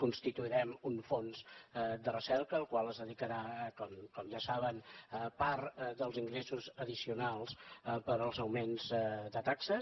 constituirem un fons de recerca al qual es dedicarà com ja saben part dels ingressos addicionals pels augments de taxes